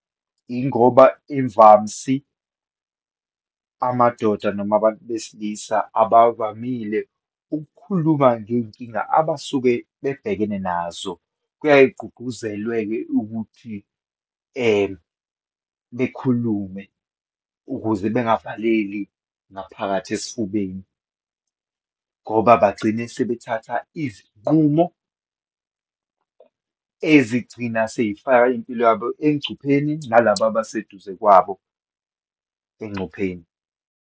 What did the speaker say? Ingoba ivamsi, amadoda noma abantu besilisa abavamile ukukhuluma ngeyinkinga abasuke bebhekene nazo. Kuyaye kugqugquzelwe-ke ukuthi bekhulume ukuze bengavaleli ngaphakathi esifubeni, ngoba bagcine sebethatha izinqumo ezigcina seyifaka impilo yabo engcupheni, nalaba abaseduze kwabo engcupheni.